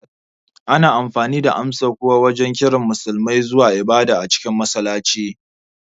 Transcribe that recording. Ana amfani da amsa-kuwa wajen kiran Musulmai zuwa ibada a cikin masallaci